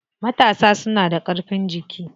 Matasa suna da ƙarfin jiki.